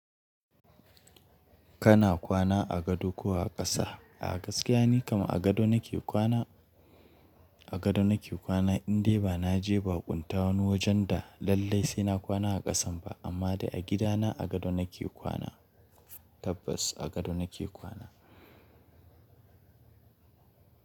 Kana kwana a gado ko a ƙasa? A gaskiya ni kam a gado nake kwana, a gado nake kwana indai ba na je bakunta wani wajen da lallai sai na kwana a ƙasan ba amma dai a gidana a gado nake kwana tabbas a gado nake kwana.